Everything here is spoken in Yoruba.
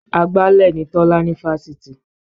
Agbálẹ̀ ni Tọ́lá ní fásitì